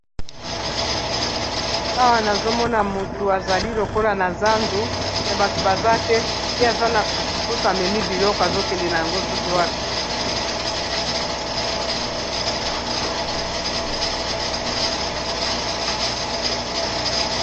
Awa nazomona motu azali lokola na zandu me bato baza te ye aza na pusupus amemi biloko azokende na yango soki wapi.